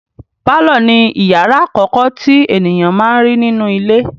Pálọ̀ ni ìyàrá àkọ́kọ́ tí ènìyàn má n rí nínú ilé.